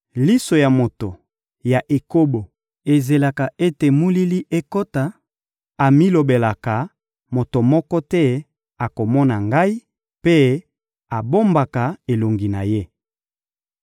Liso ya moto ya ekobo ezelaka ete molili ekota; amilobelaka: ‹Moto moko te akomona ngai,› mpe abombaka elongi na ye.